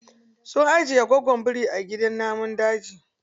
Sun ajiye gwaggon biri a gidan namun daji.